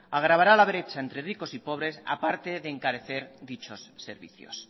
agravará la brecha entre ricos y pobres a parte de encarecer dichos servicios